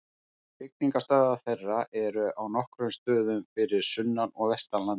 Hrygningarstöðvar þeirra eru á nokkrum stöðum fyrir sunnan og vestan landið.